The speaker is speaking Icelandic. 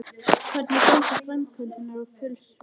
Hvernig ganga framkvæmdirnar á Fjölnisvelli?